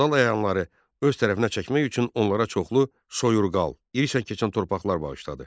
Feodal əyanları öz tərəfinə çəkmək üçün onlara çoxlu soyurqal, iri çətin torpaqlar bağışladı.